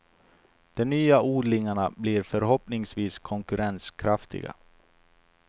De nya odlingarna blir förhoppningsvis konkurrenskraftiga.